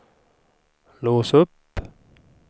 lås upp